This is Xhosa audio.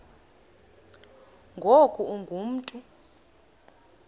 ngoku ungu mntu